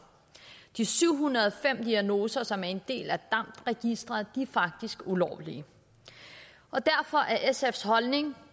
de syv hundrede og fem diagnoser som er en del af damd registeret er faktisk ulovlige og derfor er sfs holdning